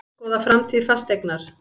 Skoða framtíð Fasteignar